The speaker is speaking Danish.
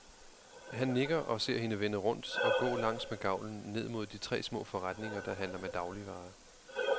Han nikker og ser hende vende rundt og gå langs med gavlen ned mod de tre små forretninger, der handler med dagligvarer.